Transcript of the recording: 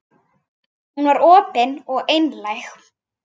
Hún var opin og einlæg.